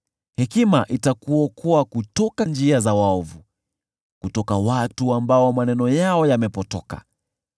Hekima itakuokoa kutoka njia za waovu, kutoka kwa watu ambao maneno yao yamepotoka,